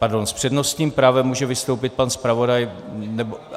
Pardon, s přednostním právem může vstoupit pan zpravodaj.